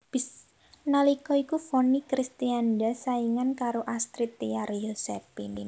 Nalika iku Vonny Kristianda saingan karo Astrid Tiar Yosephine